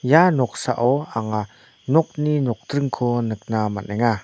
ia noksao anga nokni nokdringko nikna man·enga.